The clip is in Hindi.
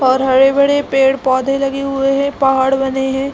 और हरे-भरे पेड़_पौधे लगे हुए है पहाड़ बने है।